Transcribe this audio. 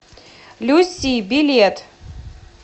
люси билет